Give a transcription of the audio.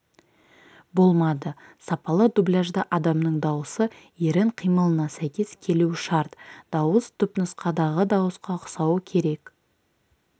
болмады сапалы дубляжда адамның даусы ерін қимылына сәйкес келуі шарт дауыс түпнұсқадағы дауысқа ұқсауы керек